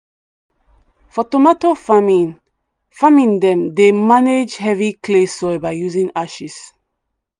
for tomato farming farming them dey manage heavy clay soil by using ashes.